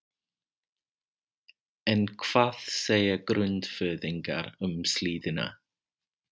En hvað segja Grundfirðingar um síldina?